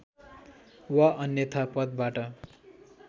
वा अन्‍यथा पदबाट